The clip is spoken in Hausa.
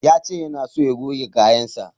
Ya ce yana so ya goge kayansa.